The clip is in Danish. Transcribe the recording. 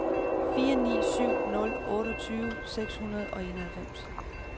fire ni syv nul otteogtyve seks hundrede og enoghalvfems